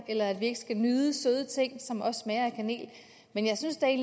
eller at vi ikke skal nyde søde ting som også smager af kanel men jeg synes da